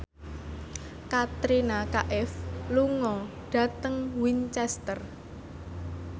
Katrina Kaif lunga dhateng Winchester